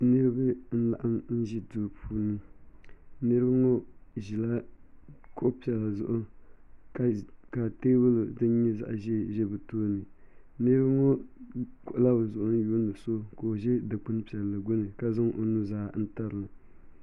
Niraba n laɣim ʒi Duu puuni niraba ŋo ʒila kuɣu piɛla zuɣu ka teebuli din nyɛ zaɣ ʒiɛ ʒɛ bi tooni niraba ŋo kpuɣula bi zuɣu lihiri so ka o ʒɛ dikpuni piɛlli gbuni ka zaŋ o nuzaa n tirina